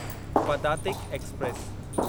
Padatik express